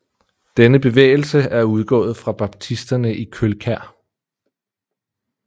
Denne Bevægelse er udgaaet fra Baptisterne i Kølkær